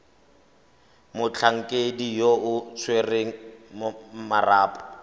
motlhankedi yo o tshwereng marapo